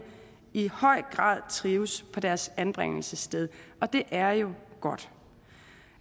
i høj grad trives på deres anbringelsessted og det er jo godt